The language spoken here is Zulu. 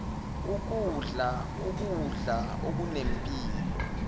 ukudla ukudla okunempilo